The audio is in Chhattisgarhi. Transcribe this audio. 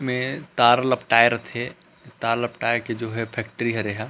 में तार लपटाय रथे तार लपटाये के जो हे फैक्ट्री हरे एहा--